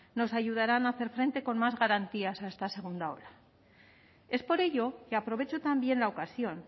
nos ayudarán a hacer frente con más garantías a esta segunda ola es por ello que aprovecho también la ocasión